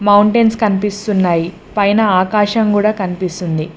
Mountains కనిపిస్తున్నాయి పైన ఆకాశం కూడా కనిపిస్తుంది.